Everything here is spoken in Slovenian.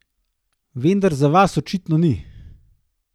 Vendar za vas očitno ni.